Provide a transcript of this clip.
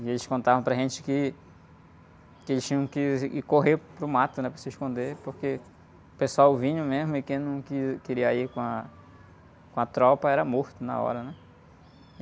E eles contavam para a gente que, que eles tinham que ir correr para o mato, né? Para se esconder, porque o pessoal vinha mesmo e quem não que, queria ir com a, com a tropa era morto na hora, né?